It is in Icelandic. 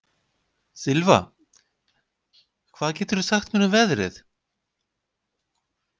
Sylva, hvað geturðu sagt mér um veðrið?